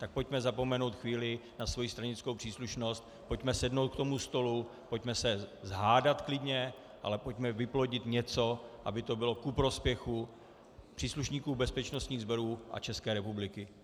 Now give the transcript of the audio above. Tak pojďme zapomenout chvíli na svoji stranickou příslušnost, pojďme sednout k tomu stolu, pojďme se "pohádat" klidně, ale pojďme vyplodit něco, aby to bylo ku prospěchu příslušníků bezpečnostních sborů a České republiky.